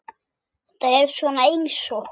Þetta er svona eins og.